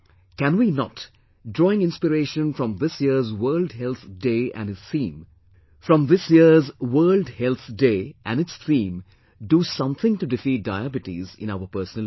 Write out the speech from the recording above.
Can we not, drawing inspiration from this year's World Health Day and its theme, do something to defeat Diabetes in our personal life